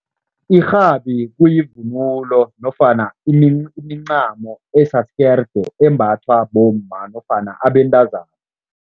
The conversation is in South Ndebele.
Irhabi kuyivunulo nofana imincamo asisikerde embathwa bomma nofana abentazana.